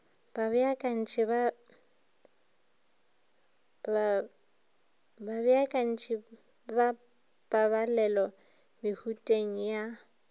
babeakanyi ba pabalelo mehuteng ya